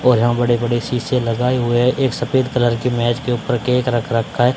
और यहां बड़े बड़े शीशे लगाए हुए है एक सफेद कलर की मेज के ऊपर केक रख रखा--